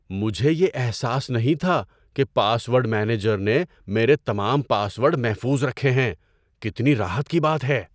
مجھے یہ احساس نہیں تھا کہ پاس ورڈ مینیجر نے میرے تمام پاس ورڈ محفوظ رکھے ہیں۔ کتنی راحت کی بات ہے!